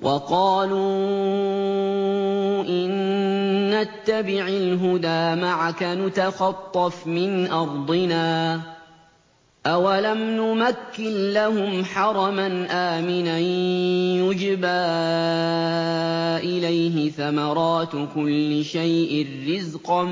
وَقَالُوا إِن نَّتَّبِعِ الْهُدَىٰ مَعَكَ نُتَخَطَّفْ مِنْ أَرْضِنَا ۚ أَوَلَمْ نُمَكِّن لَّهُمْ حَرَمًا آمِنًا يُجْبَىٰ إِلَيْهِ ثَمَرَاتُ كُلِّ شَيْءٍ رِّزْقًا